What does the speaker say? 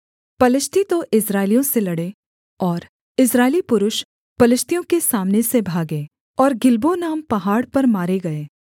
पलिश्ती तो इस्राएलियों से लड़े और इस्राएली पुरुष पलिश्तियों के सामने से भागे और गिलबो नाम पहाड़ पर मारे गए